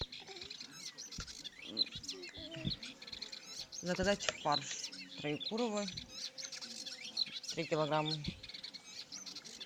заказать фарш троекурово три килограмма